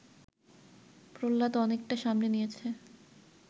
প্রহ্লাদ অনেকটা সামনে নিয়েছে